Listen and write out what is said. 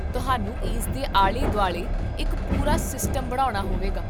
ਤੁਹਾਨੂੰ ਇਸਦੇ ਆਲੇ ਦੁਆਲੇ ਇੱਕ ਪੂਰਾ ਸਿਸਟਮ ਬਣਾਉਣਾ ਹੋਵੇਗਾ